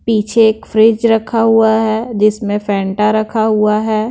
पीछे एक फ्रिज रखा हुआ है जिसमें फैंटा रखा हुआ है।